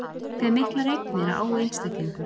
Hve miklar eignir á einstaklingur?